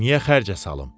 Niyə xərcə salım?